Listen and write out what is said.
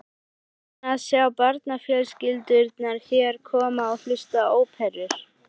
Gaman að sjá barnafjölskyldurnar hér koma og hlusta á óperur.